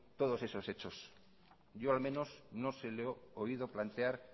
todos esos hechos yo al menos no se lo he oído plantear